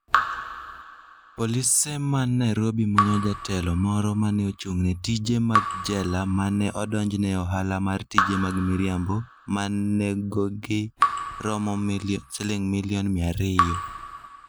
Polise man Nairobi manyo jatelo moro ma ne ochung'ne tije mag jela ma ne odonjne e ohala mar tije mag miriambo ma nengogi romo Sh200 million.